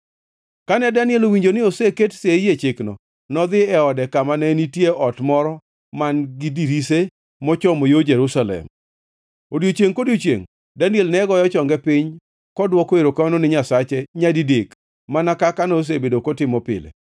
Kane Daniel owinjo ni oseket sei e chikno nodhi e ode kama ne nitie ot moro man-gi dirise mochomo yo Jerusalem. Odiechiengʼ kodiechiengʼ Daniel ne goyo chonge piny kodwoko erokamano ni Nyasache nyadidek mana kaka nosebedo kotimo pile.